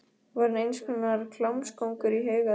Var hann eins konar klámkóngur í huga þeirra?